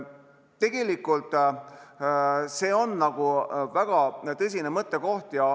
Tegelikult see on väga tõsine mõttekoht.